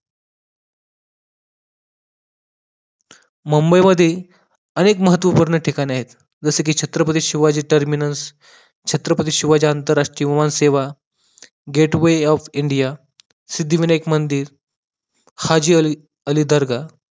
मुंबई मध्ये अनेक महत्वपूर्ण ठिकाणे आहेत जसेकी छत्रपती शिवाजी terminus छत्रपती शिवाजी आंतरराष्ट्रीय विमान सेवा, gateway of India सिद्धिविनायक मंदिर हाजीअली दर्गाह